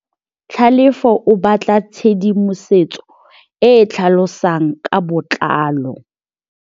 Tlhalefô o batla tshedimosetsô e e tlhalosang ka botlalô.